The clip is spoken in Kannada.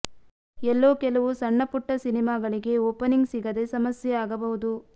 ಎಲ್ಲೋ ಕೆಲವು ಸಣ್ಣ ಪುಟ್ಟ ಸಿನಿಮಾಗಳಿಗೆ ಓಪನಿಂಗ್ ಸಿಗದೆ ಸಮಸ್ಯೆ ಆಗಬಹುದು